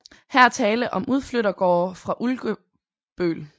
Her er tale om udflyttergårde fra Ulkebøl